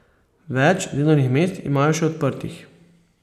Več delovnih mest imajo še odprtih.